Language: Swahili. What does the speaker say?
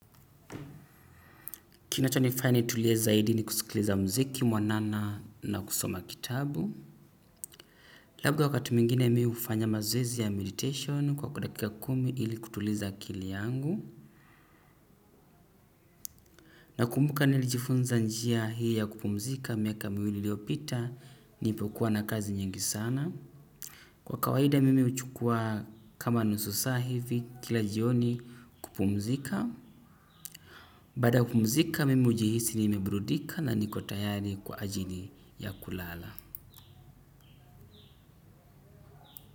Kinachonifanya nitulie zaidi ni kusikiliza mziki mwanana na kusoma kitabu. Labda wakati mwingine mi hufanya mazoezi ya meditation kwa dakika kumi ili kutuliza akili yangu. Nakumbuka nilijifunza njia hii ya kupumzika miaka miwili iliyopita nilipokuwa na kazi nyingi sana. Kwa kawaida mimi huchukua kama nusu saa hivi kila jioni kupumzika. Baada ya kupumzika mimi hujihisi nimebrudika na niko tayari kwa ajili ya kulala.